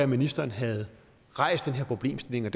ministeren havde rejst den her problemstilling og